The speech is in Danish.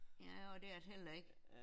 Ja og det er det heller ikke